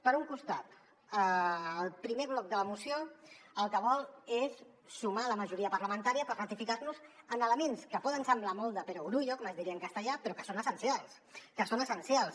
per un costat el primer bloc de la moció el que vol és sumar la majoria parlamen·tària per ratificar·nos en elements que poden semblar molt de perogrullo com es di·ria en castellà però que són essencials que són essencials